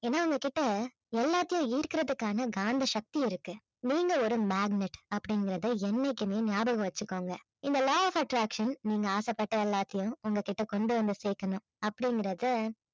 ஏன்னா உங்க கிட்ட எல்லாத்தையும் ஈர்க்கறதுக்கான காந்த சக்தி இருக்கு நீங்க ஒரு magnet அப்படிங்கிறதை என்னைக்குமே ஞாபகம் வச்சுக்கோங்க இந்த law of attraction நீங்க ஆசைப்பட்ட எல்லாத்தையும் உங்ககிட்ட கொண்டு வந்து சேர்க்கணும் அப்படிங்கறதை